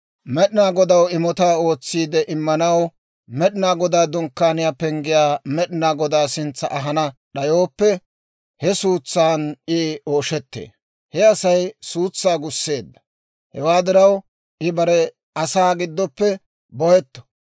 Med'inaa Godaw imotaa ootsiide immanaw Med'inaa Godaa Dunkkaaniyaa penggiyaa Med'inaa Godaa sintsa ahana d'ayooppe, he suutsan I ooshettee; he Asay suutsaa gusseedda. Hewaa diraw I bare asaa giddoppe bohetto.